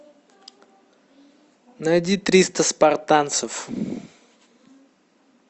найди триста спартанцев